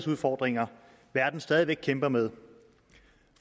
udfordringer verden stadig væk kæmper med